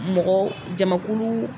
Mɔgɔ jama kulu